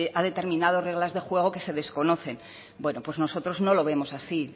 ha determinado reglas de juego que se desconocen bueno pues nosotros no lo vemos así